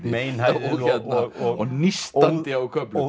meinhæðið og nístandi á köflum